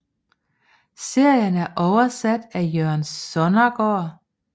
Serien er oversat af Jørgen Sonnergaard